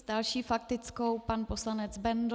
S další faktickou pan poslanec Bendl.